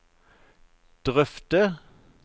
drøfte